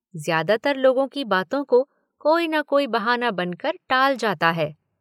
ज़्यादातर लोगों की बातों को कोई न कोई बहाना बनकर टाल जाता है।